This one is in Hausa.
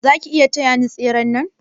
Zaki iya taya ni da tseren nan?